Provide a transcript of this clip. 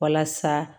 Walasa